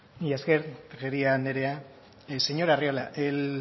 mila esker tejeria andrea señor arriola el